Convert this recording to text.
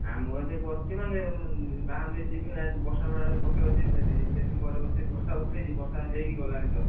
ଆମର ଏଇ ବସଛି ମାନେ ବାହାର କୁ ଯଦି ଯିବି ବର୍ଷା ଫର୍ଷା ପକେଇବ ଯଦି ଭେଦି ଯିବି ସେଇ ଲାଗି ଘରେ ବସିଛି ବର୍ଷା ଉଠେଇଛି ବର୍ଷା ହେଇକି ଗଲାଣି ତାନେ।